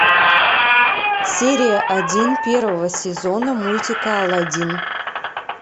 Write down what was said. серия один первого сезона мультика аладдин